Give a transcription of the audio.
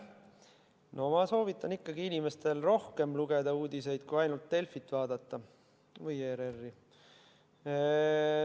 No ma soovitan ikkagi inimestel lugeda rohkem uudiseid, mitte vaadata ainult Delfit või ERR-i.